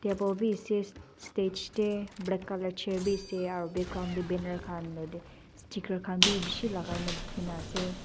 bow b ase stage tey black colour chair b ase aro background tey banner khan lokotey sticker khan b bishi lai kai kena dikey ase.